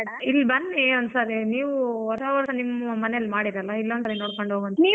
ಇಲ್ಲಿ ಬನ್ನಿ ಒನ್ಸಾರಿ ನೀವೂ ಹೊಸ ವರ್ಷ ನಿಮ್ಮ್ ಮನೆಲ್ ಮಾಡಿರಲ್ಲ ಇಲ್ಲೊಂದ್ ಸಾರಿ ನೋಡ್ಕೊಂಡು ಹೋಗುವಂತೆ.